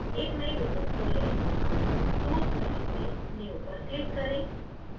एक नयी window खोलें tools menu से new पर click करें